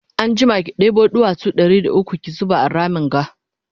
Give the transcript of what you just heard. anjima ki ɗebo duwatsu Ɗari da ukwu ki zuba a Ramin ga